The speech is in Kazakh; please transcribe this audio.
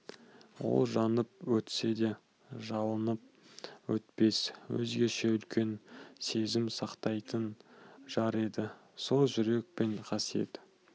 ол жанып өтсе де жалынып өтпес өзгеше үлкен сезім сақтайтын жар еді сол жүрек пен қасиет